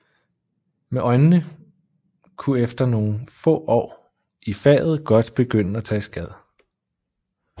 Men øjnene kunne efter nogle år i faget godt begynde at tage skade